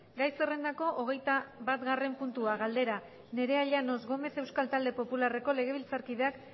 gai zerrendako hogeita batgarren puntua galdera nerea llanos gómez euskal talde popularreko legebiltzarkideak